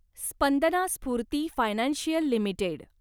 Spandana Sphoorty financial limited